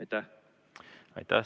Aitäh!